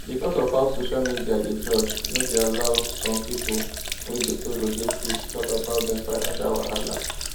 because of how social media dey judge no dey allow some people wey dey borrow dey free to talk about dem financial wahala